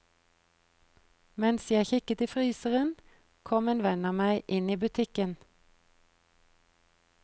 Mens jeg kikket i fryseren, kom en venn av meg inn i butikken.